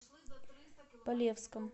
полевском